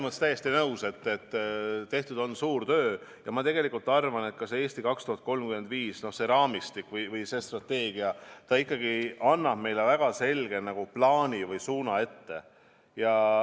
Ma olen täiesti nõus, et tehtud on suur töö, ja ma tegelikult arvan, et see "Eesti 2035", see raamistik või see strateegia ikkagi annab meile väga selge plaani või suuna ette.